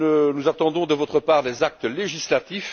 nous attendons de votre part des actes législatifs.